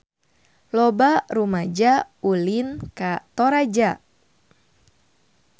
Loba rumaja ulin ka Toraja